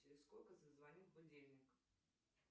через сколько зазвонит будильник